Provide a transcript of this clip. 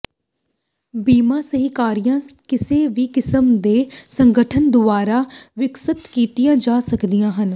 ਬੀਮਾ ਸਹਿਕਾਰੀਆਂ ਕਿਸੇ ਵੀ ਕਿਸਮ ਦੇ ਸੰਗਠਨ ਦੁਆਰਾ ਵਿਕਸਤ ਕੀਤੀਆਂ ਜਾ ਸਕਦੀਆਂ ਹਨ